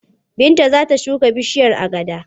Binta za ta shuka bishiyar agada.